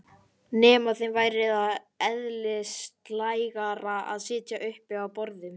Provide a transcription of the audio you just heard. Nema þeim væri það eðlislægara að sitja uppi á borðum?